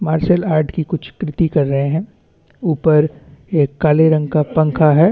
Martial art की कुछ कृति कर रहे है ऊपर एक काले रंग का पंखा है।